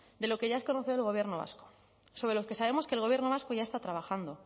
de lo que ya es conocedor el gobierno vasco sobre lo que sabemos que el gobierno vasco ya está trabajando